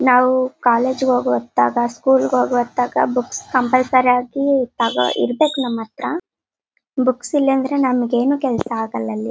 ನಾವು ಕಾಲೇಜು ಹೋಗು ಹೊತ್ತಾಗ ಸ್ಕೂಲ್ ಹೊತ್ತಾಗ ಬುಕ್ಸ್ ಕಂಪಲ್ಸರಿ ಇರ್ಬೇಕು ನಮ ಹತ್ರ ಬುಕ್ಸ್ ಇಲ್ಲಾಂದ್ರೆ ನಂಗೇನು ಕೆಲಸ ಆಗೋಲ್ಲ ಅಲ್ಲಿ.